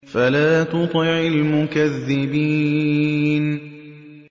فَلَا تُطِعِ الْمُكَذِّبِينَ